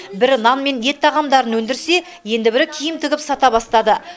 бірі нан мен ет тағамдарын өндірсе енді бірі киім тігіп сата бастады